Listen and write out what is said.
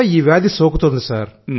కూడా ఇది సోకుతోంది సార్